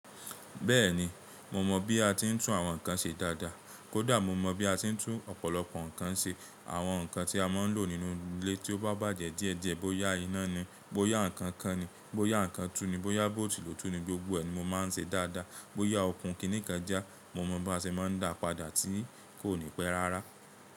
Bẹ́ẹ̀ni, mo mọ bí a ti ń tún àwọn nǹkan ṣe dáadáa. Kódà mo mọ bí a ti ń tún ọ̀pọ̀lọpọ̀ nǹkan ṣe. Àwọn nǹkan tí a máa ń lò nínú ilé tí ó bá bàjẹ́ díẹ̀ díẹ̀, bóyá iná ni, bóyá ǹkan kan ni, bóyá ǹkan tú ni, bóyá bóòtù lò tú ni, gbogbo ẹ̀ ni mo máa ń ṣe dáadáa. Bóyá okun kìíní kan já, mo mọ bí a ṣe máa ń dàá padà tí kò ní pẹ́ rárá.